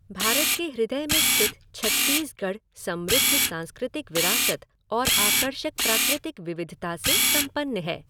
भारत के हृदय में स्थित छत्तीसगढ़ समृद्ध सांस्कृतिक विरासत और आकर्षक प्राकृतिक विविधता से संपन्न है।